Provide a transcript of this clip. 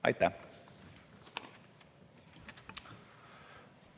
Aitäh!